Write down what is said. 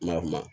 Ma kuma